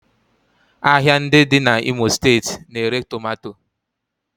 Ahịa ndị dị n'Imo steeti na-ere tomato